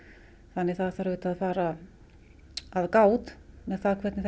þannig að það þarf að fara gát með það hvernig